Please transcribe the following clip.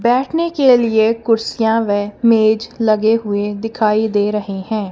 बैठने के लिए कुर्सियां व मेज लगे हुए दिखाई दे रहे हैं।